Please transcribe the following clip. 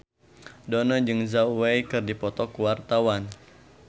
Dono jeung Zhao Wei keur dipoto ku wartawan